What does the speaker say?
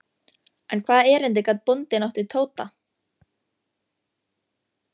En hvaða erindi gat bóndinn átt við Tóta?